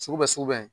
Sugu bɛ sugu bɛ